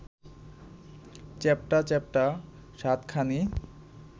চ্যাপটা-চ্যাপটা সাতখানি